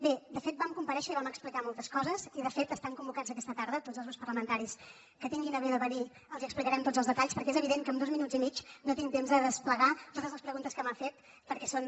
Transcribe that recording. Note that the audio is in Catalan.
bé de fet vam comparèixer i vam explicar moltes coses i de fet estan convocats aquesta tarda tots els grups parlamentaris que es dignin a venir els explicarem tots els detalls perquè és evident que amb dos minuts i mig no tinc temps de desplegar totes les preguntes que m’ha fet perquè són